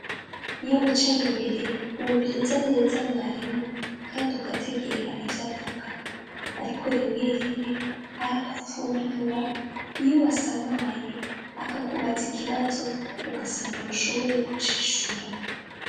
iyo wicaye imbere wumviriza neza mwarimu kandi ugategera ibyo avuga ariko rimwe rimwe arakuvundurura iyo wasamaye akakubaza ikibazo ugasanga nu shoboye kucishura